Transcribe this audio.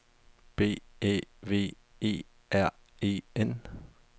B Æ V E R E N